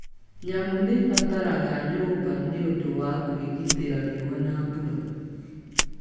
Nyamũ nĩ ibataraga nyũmba nĩ ũndũ wa kũĩgitĩra riũa na mbura.